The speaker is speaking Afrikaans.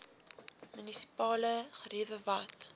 munisipale geriewe wat